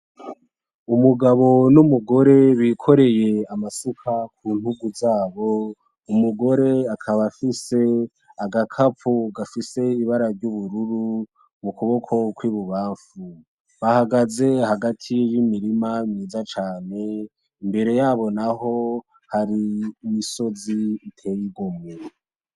Umugabo n’umugore bikoreye amasuka ku ntugu zabo. Umugore akaba afise agakapu gafise ibara ry’ubururu mu kuboko kw’ibubamfu. Bahagaze hagati y’imirima myiza cane, imbere yabo naho hari imisozi iteye igomwe.